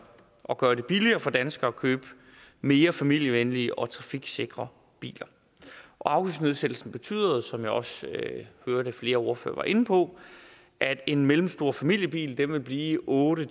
at gøre det billigere for danskere at købe mere familievenlige og trafiksikre biler afgiftsnedsættelsen betyder som jeg også hørte flere ordførere var inde på at en mellemstor familiebil vil blive otte